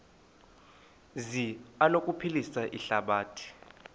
zi anokuphilisa ihlabathi